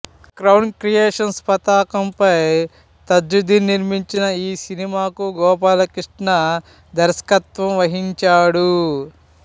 crown creations పతాకంపై తజ్జుదీన్ నిర్మించిన ఈ సినిమాకు గోపాలకృష్ణ దర్శకత్వం వహించాడు